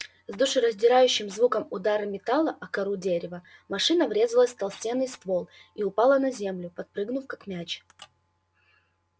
с душераздирающим звуком удара металла о кору дерева машина врезалась в толстенный ствол и упала на землю подпрыгнув как мяч